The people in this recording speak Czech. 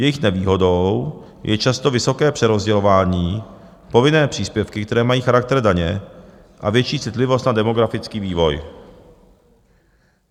Jejich nevýhodou je často vysoké přerozdělování, povinné příspěvky, které mají charakter daně, a větší citlivost na demografický vývoj.